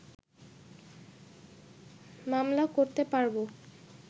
মামলা করতে পারব